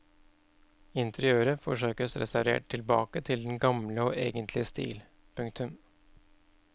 Interiøret forsøkes restaurert tilbake til den gamle og egentlige stil. punktum